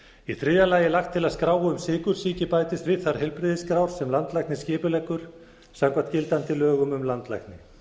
í þriðja lagi er lagt til að skrá um sykursýki bætist við þær heilbrigðisskrár sem landlæknir skipuleggur samkvæmt gildandi lögum um landlækni